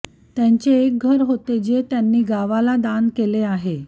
त्यांचे एक घर होते जे त्यांनी गावाला दान केले आहे